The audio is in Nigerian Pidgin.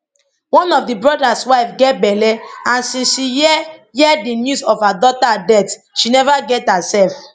one of di brothers wife get belle and since she hear hear di news of her daughter death she neva get hersef